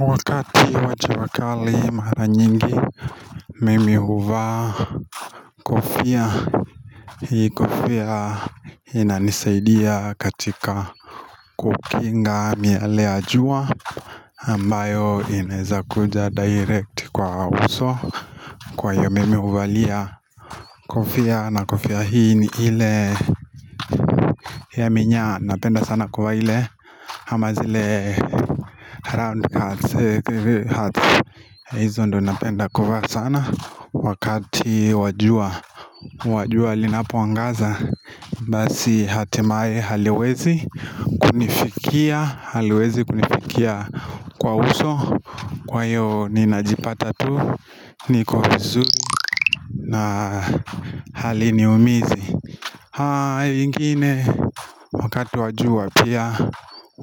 Wakati wa jua kali mara nyingi mimi huva kofia hii kofia inanisaidia katika kukinga miale ya jua ambayo inezakuja direct kwa uso kwayo mimi huvalia kofia na kofia hii ni ile ya minyaa napenda sana kwa ile ama zile Round huts hizo ndo napenda kuvaa sana Wakati wa jua jua linapoangaza Basi hatimaye haliwezi Kunifikia haliwezi kunifikia Kwa uso Kwa hiyo ninajipata tu niko vizuri na haliniumizi ingine Wakati wa jua pia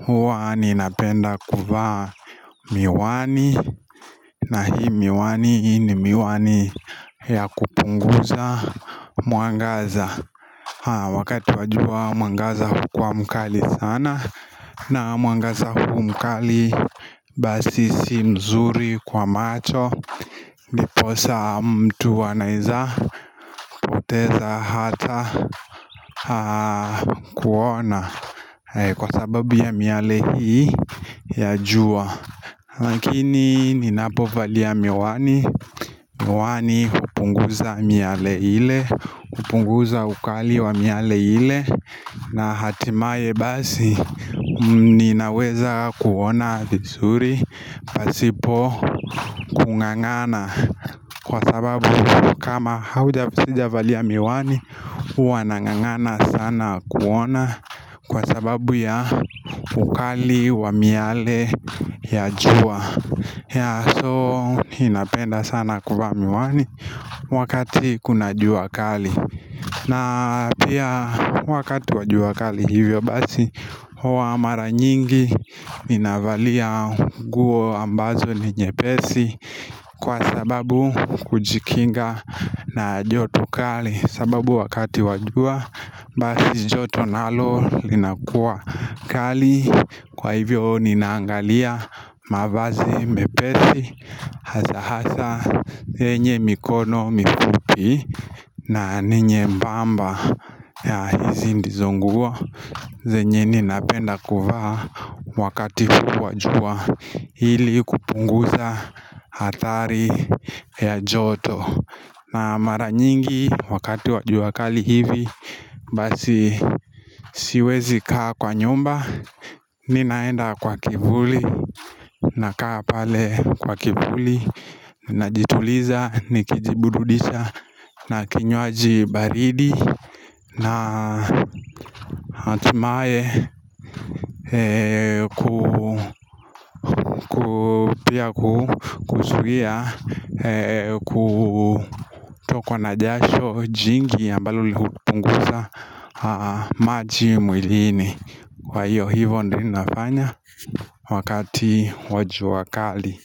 Huwa ninapenda kuvaa Miwani na hii miwani ni miwani ya kupunguza mwangaza Wakati wajua mwangaza hukua mkali sana na mwangaza huu mkali basi si mzuri kwa macho Ndiposa mtu anaweza teza hata kuona Kwa sababu ya miale hii ya jua Lakini ninapovalia miwani, miwani hupunguza miale ile, hupunguza ukali wa miale ile na hatimaye basi, ninaweza kuona vizuri, pasipo kungangana Kwa sababu kama hauja sijavalia miwani, hua nangangana sana kuona Kwa sababu ya ukali wa miale ya jua ya so inapenda sana kuvaa miwani wakati kuna juu kali na pia wakati wa jua kali hivyo basi Hua mara nyingi ninavalia nguo ambazo ni nyepesi Kwa sababu kujikinga na joto kali sababu wakati wa jua basi joto nalo linakuwa kali Kwa hivyo ninaangalia mavazi mepesi Hasahasa zenye mikono mifupi na ninyembamba ya hizi ndizo nguo zenye ninapenda kuvaa wakati huu wa jua ili kupunguza hatari ya joto na mara nyingi wakati wajua kali hivi Basi siwezi kaa kwa nyumba Ninaenda kwa kivuli na kaa pale kwa kivuli Najituliza nikijiburududisha na kinywaji baridi na natumai pia kuzuia kutokwa na jasho jingi ambalo hupunguza maji mwilini Kwa hiyo hivo ndio nafanya wakati wajwakali.